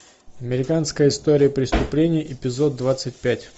американская история преступлений эпизод двадцать пять